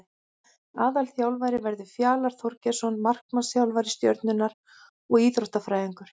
Aðalþjálfari verður Fjalar Þorgeirsson markmannsþjálfari Stjörnunnar og Íþróttafræðingur.